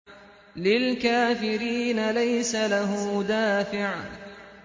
لِّلْكَافِرِينَ لَيْسَ لَهُ دَافِعٌ